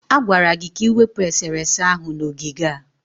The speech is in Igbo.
A gwara gị ka ị wepụ esere ese ahụ n'ogige a!